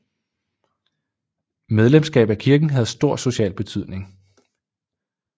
Medlemskab af kirken havde stor social betydning